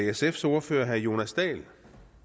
det sfs ordfører herre jonas dahl